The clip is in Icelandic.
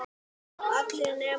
allir nema móðir mín